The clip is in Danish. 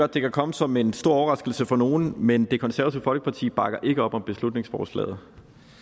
det kan komme som en stor overraskelse for nogle men det konservative folkeparti bakker ikke op om beslutningsforslaget